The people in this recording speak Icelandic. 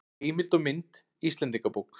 Heimild og mynd Íslendingabók.